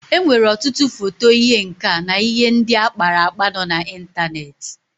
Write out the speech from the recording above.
E nwere ọtụtụ foto ihe nka na ihe ndị akpara akpa nọ na ịntaneti.